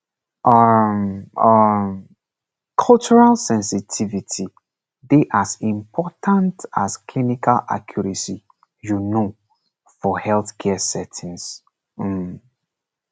um um cultural sensitivity dey as important as clinical accuracy you know for healthcare settings um